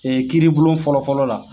Ee kiri bulon fɔlɔfɔlɔ la.